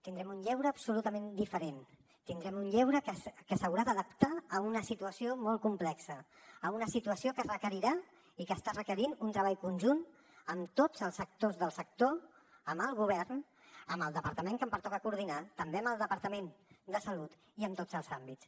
tindrem un lleure absolutament diferent tindrem un lleure que s’haurà d’adaptar a una situació molt complexa a una situació que requerirà i que està requerint un treball conjunt amb tots els actors del sector amb el govern amb el departament que em pertoca coordinar també amb el departament de salut i amb tots els àmbits